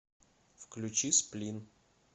включи сплин